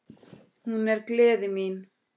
Hún er gleði mín.